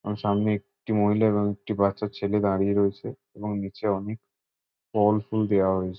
সামনে একটি মহিলা এবং একটি বাচ্চা ছেলে দাঁড়িয়ে রয়েছে এবং নিচে অনেক ফলফুল দেয়া হয়েছে।